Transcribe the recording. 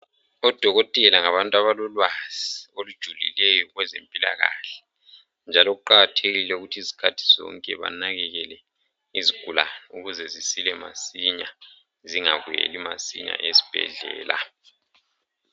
Odokotela ngabantu abalolwazi olujulileyo kwezempilakahle njalo kuqakathekile ukuthi isikhathi sonke banakakele izigulani ukuze zisile masinya zingabuyeli masinya esibhedlela.